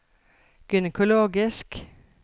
gynekologisk